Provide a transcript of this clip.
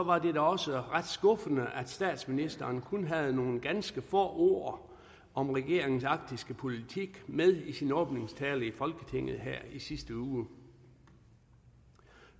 var det også ret skuffende at statsministeren kun havde nogle ganske få ord om regeringens arktiske politik med i sin åbningstale i folketinget her i sidste uge